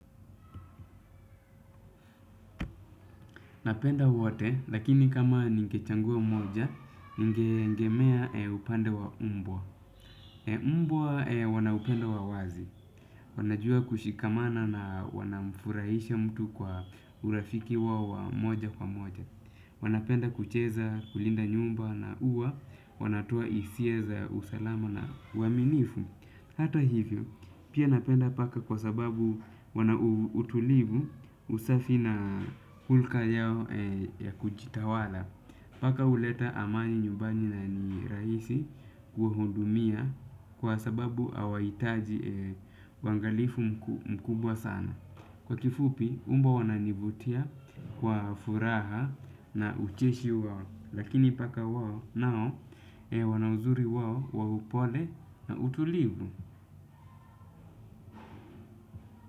Napenda wote, lakini kama ningechagua mmoja, ningeegemea upande wa mbwa. Mbwa wana upendo wa wazi. Wanajua kushikamana na wanamfurahisha mtu kwa urafiki wao wa moja kwa moja. Wanapenda kucheza kulinda nyumba na huwa wanatoa hisia za usalama na uaminifu. Hata hivyo, pia napenda paka kwa sababu wana utulivu usafi na hulka yao ya kujitawala, paka huleta amani nyumbani na ni rahisi kuwahudumia kwa sababu hawahitaji uangalifu mkubwa sana. Kwa kifupi, mbwa wananivutia kwa furaha na ucheshi wao, lakini paka wao nao wana uzuri wao wa upole na utulivu.